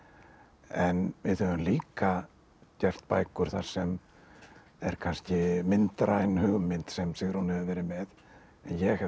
en við höfum líka gert bækur þar sem er kannski myndræn hugmynd sem Sigrún hefur verið með en ég hef þá